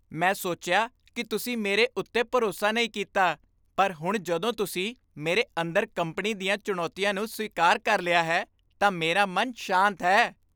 ਮੈਂ ਸੋਚਿਆ ਕਿ ਤੁਸੀਂ ਮੇਰੇ ਉੱਤੇ ਭਰੋਸਾ ਨਹੀਂ ਕੀਤਾ ਪਰ ਹੁਣ ਜਦੋਂ ਤੁਸੀਂ ਮੇਰੇ ਅੰਦਰ ਕੰਪਨੀ ਦੀਆਂ ਚੁਣੌਤੀਆਂ ਨੂੰ ਸਵੀਕਾਰ ਕਰ ਲਿਆ ਹੈ, ਤਾਂ ਮੇਰਾ ਮਨ ਸ਼ਾਂਤ ਹੈ।